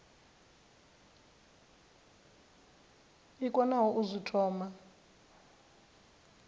i konaho u zwi thoma